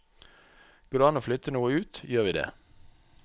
Går det an å flytte noe ut, gjør vi det.